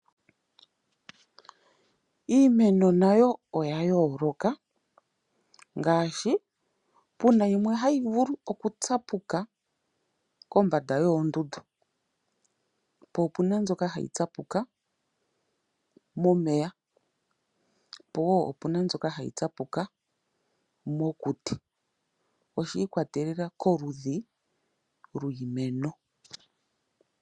Iimeno nayo oya yooloka. Ngaashi puna yimwe hai vulu oku tsapuka kombanda yoondundu . Po opuna mbyoka hayi tsapuka momeya powo opuna mbyoka hayi tsapuka mokuti . Oshi ikwatelela koludhi lwiimeno .